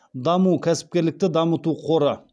даму кәсіпкерлікті дамыту қоры